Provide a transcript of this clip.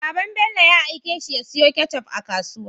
Baban Bello ya aike shi ya siyo ketchup a kasuwa